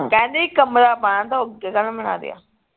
ਕਹਿੰਦੇ ਇਕ ਕਮਰਾ ਪਾਣਾ ਥਾ ਉਹ ਅੱਗੇ ਕਾਹਤੋਂ ਬਣਾ ਲਿਆ